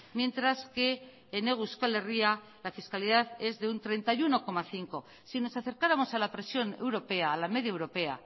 mientras que en hego euskal herria la fiscalidad es de un treinta y uno coma cinco si nos acercáramos a la presión europea a la media europea